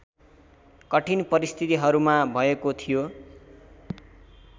कठिन परिस्थितिहरूमा भएको थियो